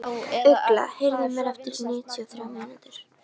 Ugla, heyrðu í mér eftir níutíu og þrjár mínútur.